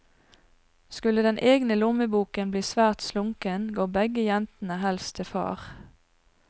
Skulle den egne lommeboken bli svært slunken, går begge jentene helst til far.